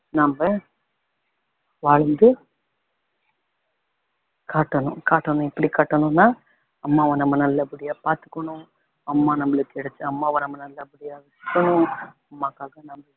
நம்ம வாழ்ந்து காட்டணும் காட்டணும் எப்படி‌ காட்டணும்னா அம்மாவ நம்ம நல்ல படியாக பாத்துக்கணும் அம்மா நம்மளுக்கு கிடைச்ச அம்மாவ நம்ம நல்லபடியா அம்மாக்கு நம்ம